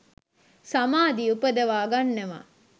සමාධි උපදවා ගන්නවා